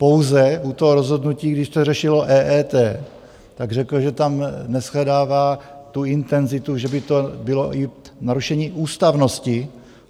Pouze u toho rozhodnutí, když se řešilo EET, tak řekl, že tam neshledává tu intenzitu, že by to bylo i narušení ústavnosti.